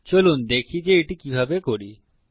চলুন দেখি যে এটি কিভাবে করি